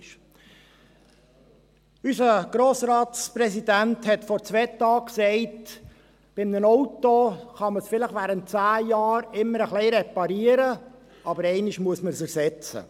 Unser Grossratspräsident sagte vor zwei Tagen, dass man ein Auto vielleicht während 10 Jahren immer wieder ein bisschen reparieren könne, aber einmal müsse man es ersetzen.